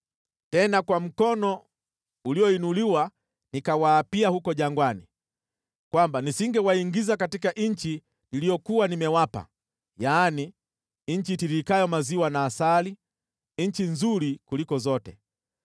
Tena kwa mkono ulioinuliwa nikawaapia huko jangwani kwamba nisingewaingiza katika nchi niliyokuwa nimewapa, yaani, nchi itiririkayo maziwa na asali, nchi nzuri kuliko zote,